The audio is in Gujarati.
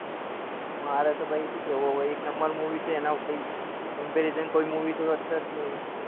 મારે તો ઈ સુ કેવું અવ એક numbermovie છે અના કઈક comparison કોઈ movie તો હશે જ નઈ